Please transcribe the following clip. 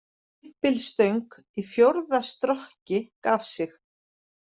Stimpilstöng í fjórða strokki gaf sig